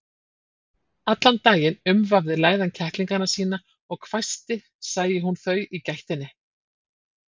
Allan daginn umvafði læðan kettlingana sína og hvæsti sæi hún þau í gættinni.